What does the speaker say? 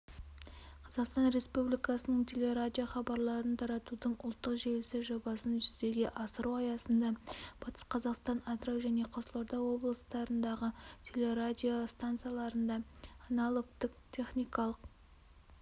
қазақстан республикасының телерадио хабарларын таратудың ұлттық желісі жобасын жүзеге асыру аясында батыс қазақстан атырау және қызылорда облыстарындағы телерадио стансаларында аналогтік техникалық